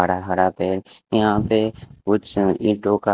हरा हरा पेड़ यहां पे कुछ ईंटों का--